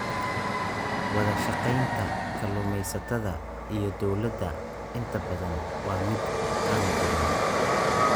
Wadashaqeynta kalluumeysatada iyo dowladda inta badan waa mid aan jirin.